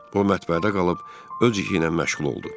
O mətbəədə qalıb öz işi ilə məşğul oldu.